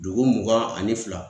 Dugu mugan ani fila.